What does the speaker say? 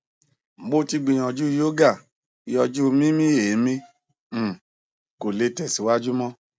mo ti gbiyanju yoga yọju mimi emi um ko le tẹsiwaju mọ